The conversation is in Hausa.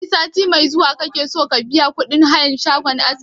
Sai sati mai zuwa kake so ka biya kuɗin hayan shagon askin?